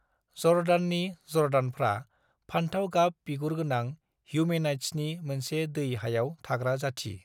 जर्दाननि जर्दानफ्रा फानथाव-गाब बिगुरगोनां ह्यूमेनाइड्सनि मोनसे दै-हायाव थाग्रा जाथि।